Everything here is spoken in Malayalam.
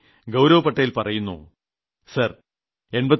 ഗൌരവ് പട്ടേൽ പറയുന്നു സാർ 89